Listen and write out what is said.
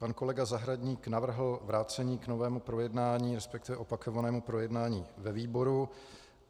Pan kolega Zahradník navrhl vrácení k novému projednání, respektive opakovanému projednání ve výboru.